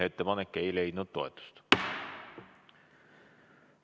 Ettepanek ei leidnud toetust.